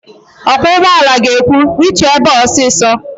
Ọkwọ ụgbọala ga-ekwu, "rituo ebe a ọsịsọ"!